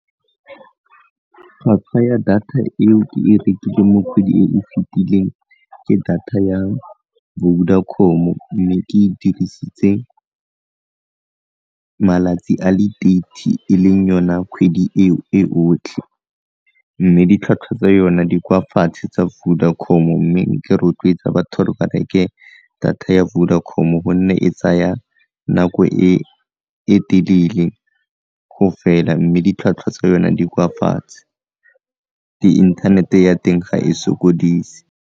Tlhwatlhwa ya data eo ke e rekileng mo kgwedi e o fetileng ke data ya Vodacom-o mme ke e dirisitse malatsi a le thirty e leng yona kgwedi eo e otlhe, mme ditlhwatlhwa tsa yona di kwa fatshe tsa Vodacom-o mme ke rotloetsa batho ba reke data ya Vodacom-o gonne e tsaya nako e e telele go fela mme ditlhwatlhwa tsa yona di kwa fatshe le inthanete ya teng ga e sokodise.